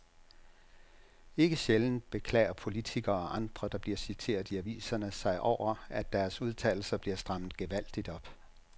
Ikke sjældent beklager politikere og andre, der bliver citeret i aviserne sig over, at deres udtalelser bliver strammet gevaldigt op.